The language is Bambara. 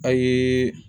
A ye